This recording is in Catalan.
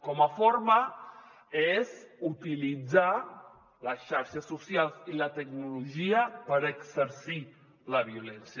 com a forma és utilitzar les xarxes socials i la tecnologia per exercir la violència